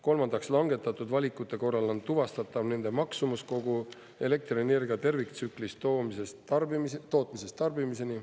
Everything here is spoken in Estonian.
Kolmandaks, langetatud valikute korral on tuvastatav nende maksumus kogu elektrienergia terviktsüklist tootmisest tarbimiseni.